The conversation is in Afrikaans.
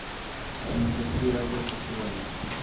geinfekteerde persone